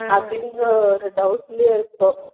அப்படின்ற ஒரு doubt லேயே இருப்போம்